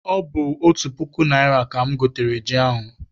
Ọ bụ otu puku naịra ka m gotere ji ahụ.